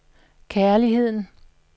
kærligheden